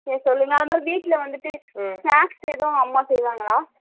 சரி சொல்லுங்க அதுமாரி வீட்டுல வந்துட்டு snacks எதும் அம்மா சைவங்களா ?